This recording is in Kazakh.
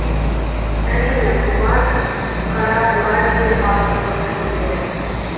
әрине бұған қара бура деген ат дұрыс келеді